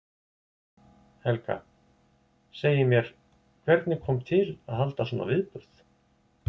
Helga: Segið mér, hvernig kom til að halda svona viðburð?